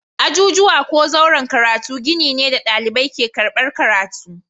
Ajujuwa ko zauren karatu gini ne da ɗalibai ke karɓar karatu.